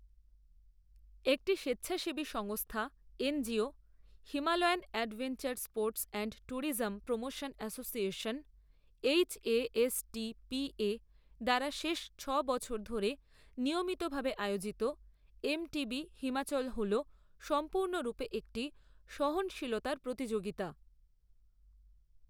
একটি স্বেচ্ছাসেবী সংস্থা NGO, Himalayan adventure sports and tourism promotion association HASTPA দ্বারা শেষ ছ'বছর ধরে নিয়মিত ভাবে আয়োজিত, এমটিবি হিমাচল হলো সম্পূর্ণরূপে একটি সহনশীলতার প্রতিযোগিতা।